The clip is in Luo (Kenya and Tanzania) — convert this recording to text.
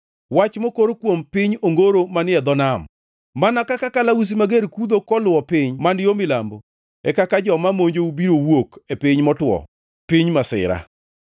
Wach mokor kuom piny Ongoro manie dho Nam: Mana kaka kalausi mager kudho koluwo piny man yo milambo, e kaka joma monjou biro wuok e piny motwo, piny masira.